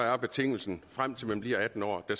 er betingelsen frem til man bliver atten år at